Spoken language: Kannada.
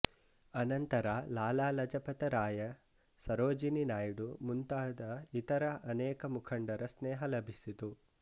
ಅನಂತರ ಲಾಲ ಲಜಪತರಾಯ ಸರೋಜಿನಿ ನಾಯಿಡು ಮುಂತಾದ ಇತರ ಅನೇಕ ಮುಂಖಡರ ಸ್ನೇಹ ಲಭಿಸಿತು